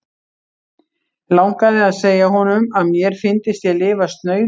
Langaði að segja honum, að mér fyndist ég lifa snauðu lífi.